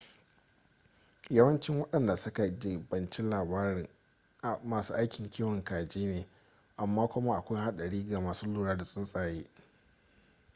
yawancin wadanda su ka jibanci lamarin masu aikin kiwon kaji ne amma kuma akwai hadari ga masu lura da tsuntsaye